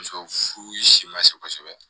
Muso furu si ma se kosɛbɛ